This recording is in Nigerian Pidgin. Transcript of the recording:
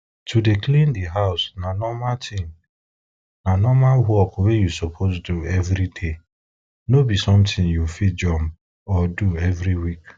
to dey clean di house na normal work you suppose do every day no be something you fit jump or do every week